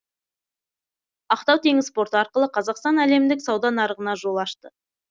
ақтау теңіз порты арқылы қазақстан әлемдік сауда нарығына жол ашты